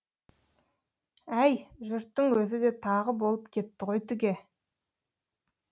әй жұрттың өзі де тағы болып кетті ғой түге